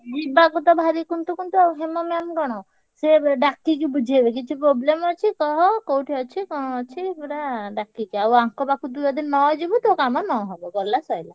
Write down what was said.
ଯିବାକୁ ତ ଭାରି କୁନ୍ତୁ କୁନ୍ତୁ ଆଉ ହେମା ma'am କଣ ସେ ଡ଼ା~ କିକି~ ବୁଝେଇବେ କିଛି problem ଅଛି କହ କୋଉଠି ଅଛି କଣ ଅଛି ପୁରା ଡାକିକି ଆଉ ଆଙ୍କ ପାଖକୁ ଯଦି ନ ଯିବୁ ତୋ କାମ ନ ହବ ଗଲା ସଇଲା।